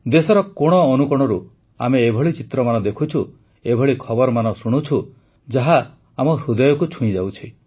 ଦେଶର କୋଣଅନୁକୋଣରୁ ଆମେ ଏଭଳି ଚିତ୍ରମାନ ଦେଖୁଛୁ ଏଭଳି ଖବରମାନ ଶୁଣୁଛୁ ଯାହା ଆମ ହୃଦୟକୁ ଛୁଇଁଯାଉଛି